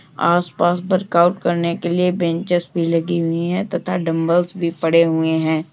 आस-पास work out करने के लिए बेनचेस भी लगी हुई है तथा डंबल्स भी पड़े हुए हैं।